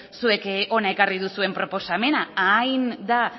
zuek hona ekarri duzuen proposamena hain da